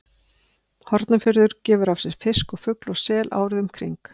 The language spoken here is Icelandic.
Hornafjörður gefur af sér fisk og fugl og sel árið um kring.